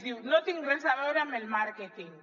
diu no tinc res a veure amb el màrque·ting